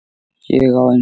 Ég á enga.